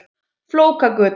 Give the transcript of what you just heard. Maður man þetta alveg.